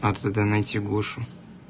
надо тогда найти гошу